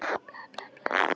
Og samt var það fyrirsláttur.